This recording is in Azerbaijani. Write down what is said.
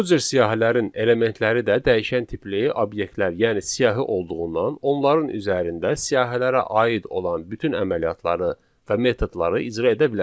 Bu cür siyahilərin elementləri də dəyişən tipli obyektlər, yəni siyahı olduğundan, onların üzərində siyahilərə aid olan bütün əməliyyatları və metodları icra edə bilərik.